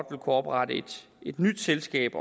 kunne oprette et nyt selskab